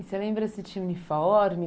E você lembra se tinha uniforme?